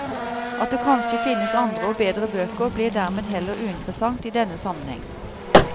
At det kanskje finnes andre og bedre bøker, blir dermed heller uinteressant i denne sammenheng.